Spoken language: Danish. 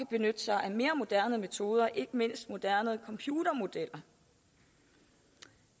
benytte sig af mere moderne metoder ikke mindst moderne computermodeller